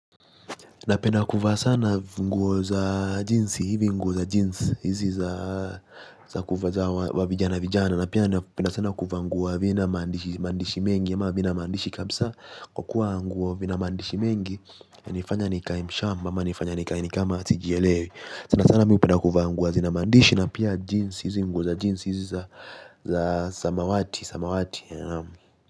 Napenda kuaa sana nguo za jinsi hivi nguo za jeans hizi za za kuva za wavijana vijana na penda sana kuwa nguo havina mandishi mandishi mengi ya maa vina mandishi kabisa kokuwa nguo vina mandishi mengi ya nifanya nikae mshamba ama nifanya nikae ni kama sijielewi sana sana miu penda kuvaa nguo hazina mandishi na pia jeans hizi nguo za jeans hizi za za samawati samawati ya naamu.